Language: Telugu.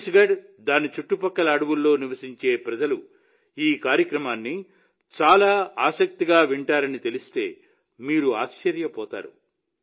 ఛత్తీస్గఢ్ దాని చుట్టుపక్కల అడవుల్లో నివసించే ప్రజలు ఈ కార్యక్రమాన్ని చాలా ఆసక్తిగా వింటారని తెలిస్తే మీరు ఆశ్చర్యపోతారు